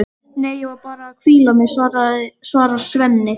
Nei, ég var bara að hvíla mig, svarar Svenni.